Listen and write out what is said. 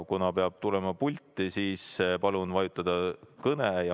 Kuna peab tulema pulti, siis palun vajutada "Kõne".